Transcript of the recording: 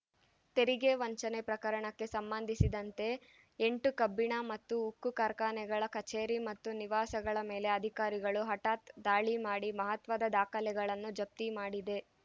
ತೆರಿಗೆ ವಂಚನೆ ಪ್ರಕರಣಕ್ಕೆ ಸಂಬಂದಿಸಿದಂತೆ ಎಂಟು ಕಬ್ಬಿಣ ಮತ್ತು ಉಕ್ಕು ಕಾರ್ಖಾನೆಗಳ ಕಛೇರಿ ಮತ್ತು ನಿವಾಸಗಳ ಮೇಲೆ ಅಧಿಕಾರಿಗಳು ಹಠಾತ್ ದಾಳಿ ಮಾಡಿ ಮಹತ್ವದ ದಾಖಲೆಗಳನ್ನು ಜಪ್ತಿ ಮಾಡಿದೆ